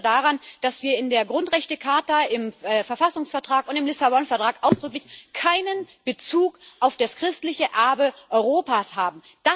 Ich erinnere daran, dass wir in der Grundrechtecharta, im Verfassungsvertrag und im Lissabon Vertrag ausdrücklich keinen Bezug auf das christliche Erbe Europas haben.